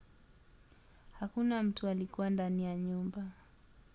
hakuna mtu alikuwa ndani ya nyumba